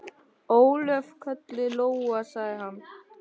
Ólöf, kölluð Lóa, sagði hann.